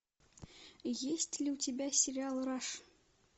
есть ли у тебя сериал раш